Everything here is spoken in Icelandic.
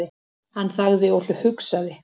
Hann þagði og hugsaði.